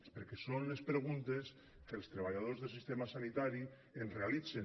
és perquè són les preguntes que els treballadors del sistema sanitari ens realitzen